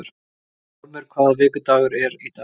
Stormur, hvaða vikudagur er í dag?